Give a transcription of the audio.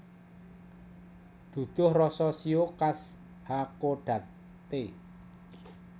Duduh rasa shio khas Hakodate